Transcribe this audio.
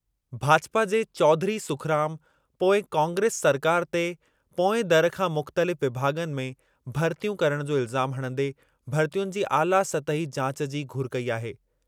भाजपा जे चौधरी सुखराम पोईं कांग्रेस सरकारि ते पोएं दरु खां मुख़्तलिफ़ विभाॻनि में भरितियूं करणु जो इल्ज़ामु हणंदे भरितियुनि जी आला सतही जाच जी घुर कई आहे।